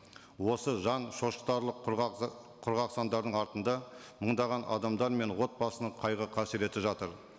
осы жан шошытарлық құрғақ құрғақ сандардың артында мыңдаған адамдар мен отбасының қайғы қасіреті жатыр